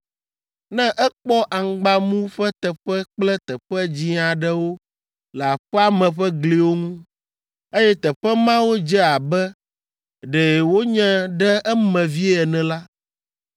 Ne ekpɔ aŋgbamu ƒe teƒe kple teƒe dzĩ aɖewo le aƒea me ƒe gliwo ŋu, eye teƒe mawo dze abe ɖe wonye ɖe eme vie ene la,